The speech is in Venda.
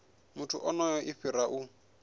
muthu onoyo i fhira u